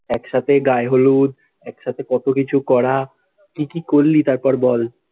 এক সাথে গায়ে হলুদ, এক সাথে কতো কিছু করা, কি কি করলি, তার পর বল?